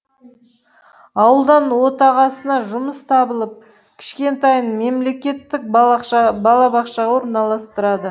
ауылдан отағасына жұмыс табылып кішкентайын мемлекеттік балабақшаға орналастырды